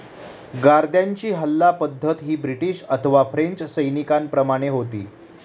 गार्द्यांची हल्ला पद्धत ही ब्रिटीश अथवा फ्रेंच सैनीकांप्रमाने होती.